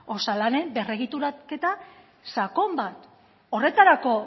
osalanen berregituraketa sakon bat horretarako